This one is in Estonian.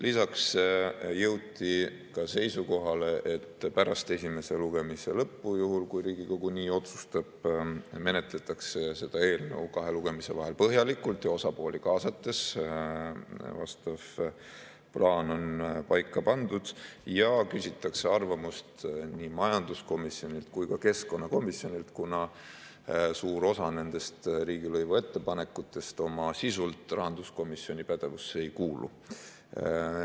Lisaks jõuti seisukohale, et pärast esimese lugemise lõppu, juhul kui Riigikogu nii otsustab, menetletakse seda eelnõu kahe lugemise vahel põhjalikult ja osapooli kaasates – vastav plaan on paika pandud – ning küsitakse arvamust nii majanduskomisjonilt kui ka keskkonnakomisjonilt, kuna suur osa riigilõivu kohta käivatest ettepanekutest oma sisult rahanduskomisjoni pädevusse ei kuulu.